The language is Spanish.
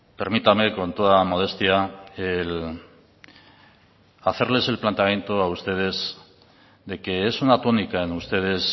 permítame con toda modestia hacerles el planteamiento a ustedes de que es una tónica en ustedes